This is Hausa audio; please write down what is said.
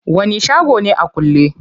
Wani shago ne a kulle?